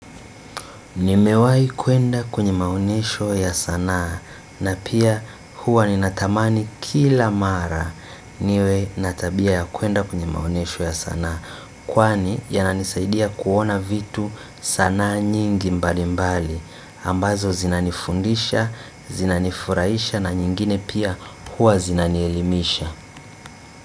Nimewahi kwenda kwenye maonesho ya sanaa na pia huwa ni natamani kila mara niwe na tabia ya kuenda kwenye maonesho ya sanaa kwani yananisaidia kuona vitu, sanaa nyingi mbalimbali ambazo zinanifundisha, zinanifurahisha na nyingine pia huwa zinanielimisha.